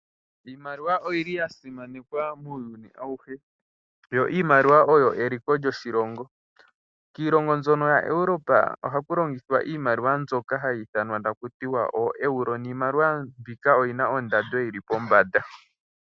Iimaliwa oyili ya simanekwa muuyuni awuhe, yo iimaliwa oyo eliko lyoshilongo. Kiilongo mbyono yaEuropa ohaku longithwa iimaliwa mbyoka hayi ithanwa takuti ooEuro, niimaliwa mbika oyina ondando yili pombanda.